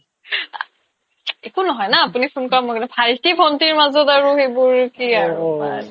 একো নহয় না আপোনি phone কৰা মই কৰা মাজত ভাইটি-ভন্টিৰ মাজত আৰু এইবোৰ কি আৰু